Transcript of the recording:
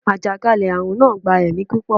àjàkálẹ̀-arun naa gba ẹmi pupọ